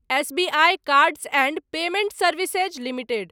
SBI cards and payment services limited